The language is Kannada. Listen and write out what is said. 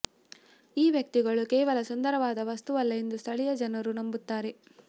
ಈ ವ್ಯಕ್ತಿಗಳು ಕೇವಲ ಸುಂದರವಾದ ವಸ್ತುವಲ್ಲ ಎಂದು ಸ್ಥಳೀಯ ಜನರು ನಂಬುತ್ತಾರೆ